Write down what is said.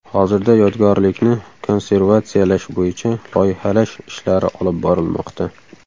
Hozirda yodgorlikni konservatsiyalash bo‘yicha loyihalash ishlari olib borilmoqda.